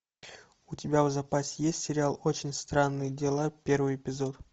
у тебя в запасе есть сериал очень странные дела первый эпизод